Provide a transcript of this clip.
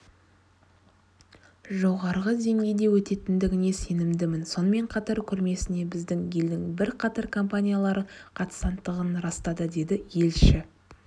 жоғарғы деңгейде өтетіндігіне сенімдімін сонымен қатар көрмесіне біздің елдің бірқатар компаниялары қатысатындығын растады деді елші